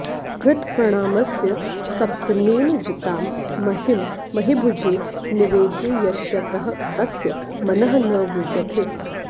कृतप्रणामस्य सपत्नेन जितां महीं महीभुजे निवेदयिष्यतः तस्य मनः न विव्यथे